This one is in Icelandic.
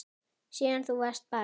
Síðan þú varst barn.